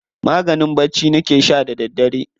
Maganin bacci nake sha da daddare.